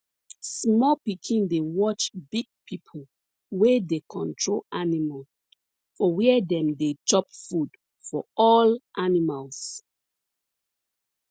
small pikin dey watch big pipo wey dey control animals for where dem dey chop food for all animals